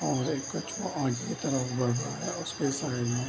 और एक कुछ आगे के तरफ बढ़ रहा है और उसके साइड में --